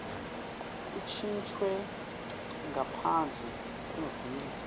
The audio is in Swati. kuntjintjwe ngaphandle kwemvumo